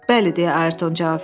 Bəli, deyə Ayrton cavab verdi.